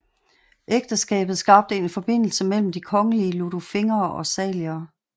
Ægteskabet skabte en forbindelse mellem de kongelige Liudolfingere og Salierne